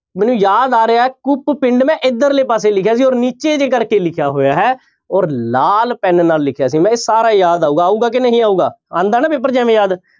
ਮੈਨੂੰ ਯਾਦ ਆ ਰਿਹਾ ਹੈ ਕੂਪ ਪਿੰਡ ਮੈਂ ਇੱਧਰਲੇ ਪਾਸੇ ਲਿਖਿਆ ਸੀ ਔਰ ਨੀਚੇ ਜਿਹੇ ਕਰਕੇ ਲਿਖਿਆ ਹੋਇਆ ਹੈ ਔਰ ਲਾਲ ਪੈਨ ਨਾਲ ਲਿਖਿਆ ਸੀ ਮੈਂ, ਸਾਰਾ ਯਾਦ ਆਊਗਾ ਆਊਗਾ ਕਿ ਨਹੀਂ ਆਊਗਾ, ਆਉਂਦਾ ਨਾ ਪੇਪਰ 'ਚ ਇਵੇਂ ਯਾਦ।